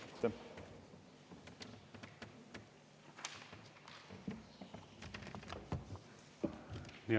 Aitäh!